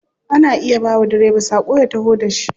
Ana iya bawa direba sako ya taho da shi.